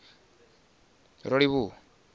rolivhuwa